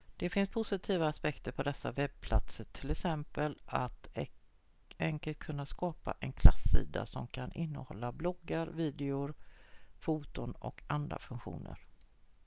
det finns positiva aspekter på dessa webbplatser t.ex att enkelt kunna skapa en klassida som kan innehålla bloggar videor foton och andra funktioner